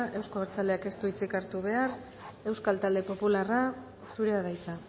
euzko abertzaleak ez du hitzik hartu behar euskal talde popularra zurea da hitza